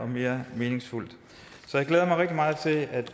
mere meningsfuldt så jeg glæder mig rigtig meget til at